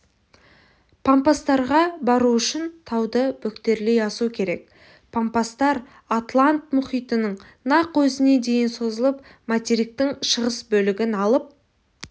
пампастарға бару үшін тауды бөктерлей асу керек пампастар атлант мұхитының нақ өзіне дейін созылып материктің шығыс бөлігін алып